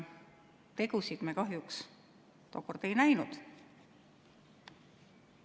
Tegusid me kahjuks tookord ei näinud.